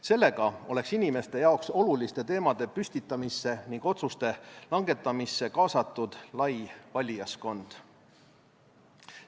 Sellega oleks inimeste jaoks oluliste teemade püstitamisse ning otsuste langetamisse kaasatud lai valijaskond.